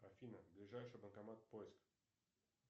афина ближайший банкомат поиск